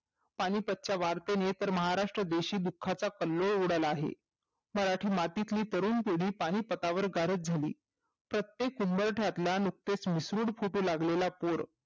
पानिपतच्या वाढत्या महाराष्ट्र देशी दुःखाचा कल्होळ उडाला आहे मराठा मातीतली तरुण पीडी पानिपतावर गारच झाली प्रत्येक उंबरटा ला नुकतेच मिसरूड फुटू लागलेला पूर